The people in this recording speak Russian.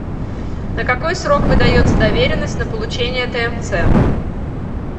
на какой срок выдается доверенность на получение тмц